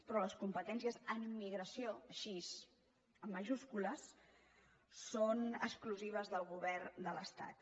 però les competències en immigració així amb majúscules són exclusives del govern de l’estat